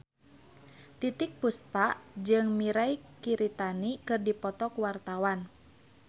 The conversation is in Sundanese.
Titiek Puspa jeung Mirei Kiritani keur dipoto ku wartawan